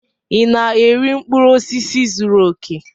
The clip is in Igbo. Ị na-eri mkpụrụ osisi zuru oke?